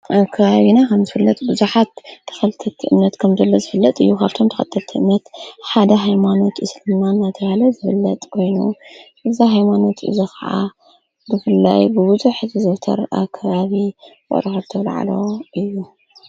ኣብ ከባብና ከም ዝፍለጥ ብዙኃት ተኸልተቲ እምነት ከምዘሎ ዝብለጥ እዩ ሃብቶም ተኸተቲ እነት ሓደ ሃይማኖት እስልናን ኣቲ ሃለ ዝብለጥ ኮይኑ እዛ ሃይማኖት እዘ ኸዓ ድፍላይ ብብዙ ሕት ዘዉተር ኣብ ከባቢ ውቅሮክልተ ኣውላዓሎ እዩ።